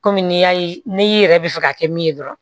Kɔmi n'i y'a ye n'i yɛrɛ bɛ fɛ ka kɛ min ye dɔrɔn